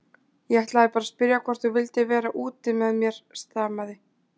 Ég ætlaði bara að spyrja hvort þú vildir vera úti með mér stamaði